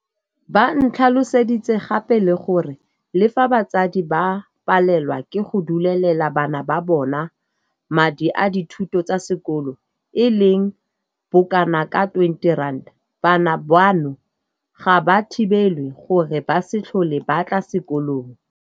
Ba ntlhaloseditse gape le gore le fa batsadi ba palelwa ke go duelelela bana ba bona madi a dithuto tsa sekolo e leng bokanaka R20, bana bano ga ba thibelwe gore ba se tlhole ba tla sekolong.